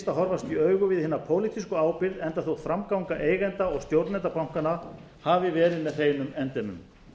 að horfast í augu við hina pólitísku ábyrgð enda þótt framganga eigenda og stjórnenda bankanna hafi verið með hreinum endemum